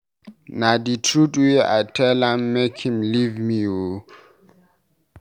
Na the truth wey I tell am make him leave me oo